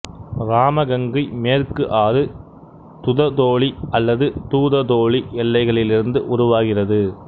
இராமகங்கை மேற்கு ஆறு துததோலி அல்லது தூததோலி எல்லைகளிலிருந்து உருவாகிறது